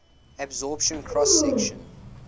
absorption cross section